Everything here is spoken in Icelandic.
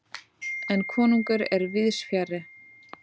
En konungur er víðsfjarri.